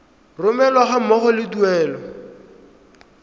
romelwa ga mmogo le tuelo